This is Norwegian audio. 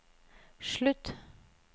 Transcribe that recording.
slutt